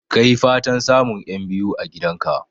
Ka yi fatan samun 'yan biyu a gidan ka